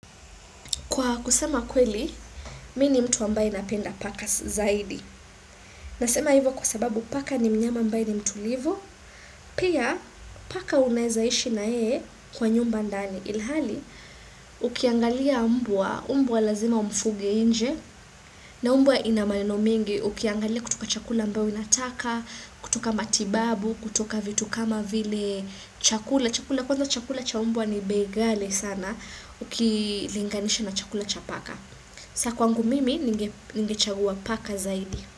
Kwa kusema kweli, mini mtu ambaye napenda pakas zaidi. Nasema hivyo kwasababu paka ni mnyama ambaye ni mtulivo, pia paka unezaishi na ee kwa nyumba ndani. Ilhali, ukiangalia umbuwa, umbuwa lazima umfuge inje, na umbuwa inamayono mingi, ukiangalia kutuka chakula ambayo inataka, kutuka matibabu, kutuka vitu kama vile chakula, chakula, kwanza chakula cha umbuwa ni begale sana, uki linganisha na chakula cha paka. Sakuangu mimi ninge chagua paka zaidi.